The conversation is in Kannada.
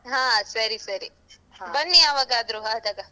ಅಹ್ ಸರಿ ಸರಿ. ಬನ್ನಿ ಯಾವಾಗಾದ್ರೂ ಆದಾಗ.